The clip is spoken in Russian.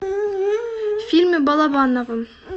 фильмы балабанова